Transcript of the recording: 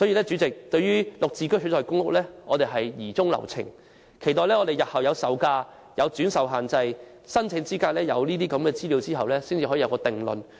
主席，對於以"綠置居"取代公屋的建議，我們疑中留情。我們要待有關方面提供售價、轉售限制及申請資格等資料後，才能作出定論。